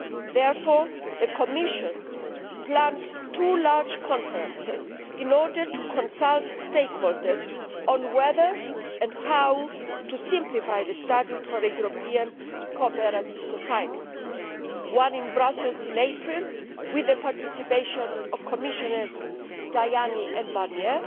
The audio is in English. Therefore the Commission plans two large conferences in order to consult stakeholders on whether and how to simplify the Statute for a European Cooperative Society, one in Brussels in April with the participation of Commissioners Tajani and Barnier,